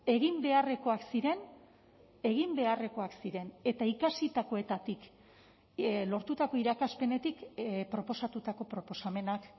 egin beharrekoak ziren egin beharrekoak ziren eta ikasitakoetatik lortutako irakaspenetik proposatutako proposamenak